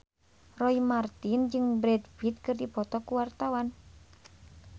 Roy Marten jeung Brad Pitt keur dipoto ku wartawan